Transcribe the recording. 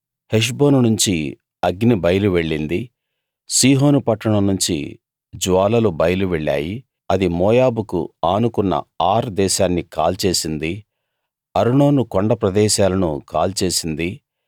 హెష్బోను నుంచి అగ్ని బయలువెళ్ళింది సీహోను పట్టణంనుంచి జ్వాలలు బయలువెళ్ళాయి అది మోయాబుకు ఆనుకున్న ఆర్ దేశాన్ని కాల్చేసింది అర్నోను కొండ ప్రదేశాలను కాల్చేసింది